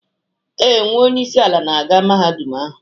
Ee, nwa onye isi ala na-aga Mahadum ahụ.